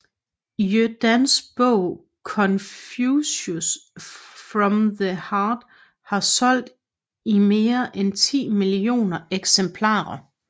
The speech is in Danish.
Yu Dans bog Confucius from the Heart har solgt i mere end ti millioner eksemplarer